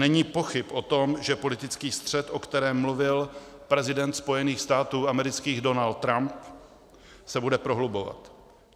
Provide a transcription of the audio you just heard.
Není pochyb o tom, že politický střet, o kterém mluvil prezident Spojených států amerických Donald Trump, se bude prohlubovat.